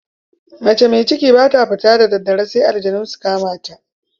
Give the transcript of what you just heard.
Mace mai ciki ba ta fita da daddare sai aljanu su kama ta.